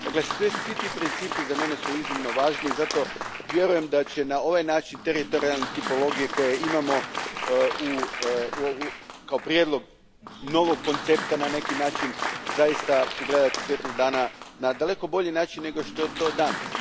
Dakle, svi ti principi su za mene iznimno važni i zato vjerujem da će na ovaj način teritorijalne tipologije koje imamo, kao prijedlog novog koncepta na neki način, zaista ugledati svjetlo dana na daleko bolji način nego što je to danas.